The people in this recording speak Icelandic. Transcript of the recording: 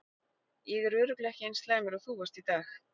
Ég er örugglega ekki eins slæmur og þú varst í dag.